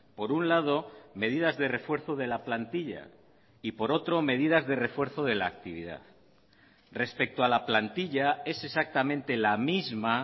por un lado medidas de refuerzo de la plantilla y por otro medidas de refuerzo de la actividad respecto a la plantilla es exactamente la misma